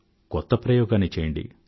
కొత్త ప్రయోగాన్నిచెయ్యండి